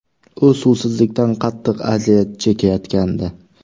U suvsizlikdan qattiq aziyat chekayotgandi.